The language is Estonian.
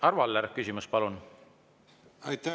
Arvo Aller, küsimus palun!